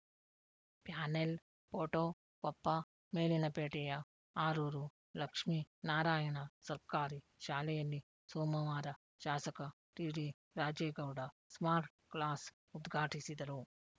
panel photo Koppa ಮೇಲಿನಪೇಟೆಯ ಆರೂರು ಲಕ್ಷ್ಮೀ ನಾರಾಯಣ ಸರ್ಕಾರಿ ಶಾಲೆಯಲ್ಲಿ ಸೋಮವಾರ ಶಾಸಕ ಟಿಡಿರಾಜೇಗೌಡ ಸ್ಮಾರ್ಟ್‌ ಕ್ಲಾಸ್‌ ಉದ್ಘಾಟಿಸಿದರು